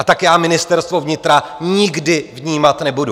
A tak já Ministerstvo vnitra nikdy vnímat nebudu.